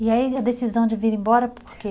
E aí a decisão de vir embora, por quê?